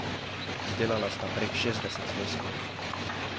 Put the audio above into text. Izdelala sta prek šestdeset zvezkov.